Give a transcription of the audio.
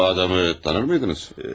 Siz bu adamı tanır mıydınız?